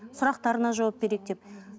сұрақтарына жауап берейік деп